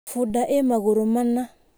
Bunda ĩ magũrũ mana.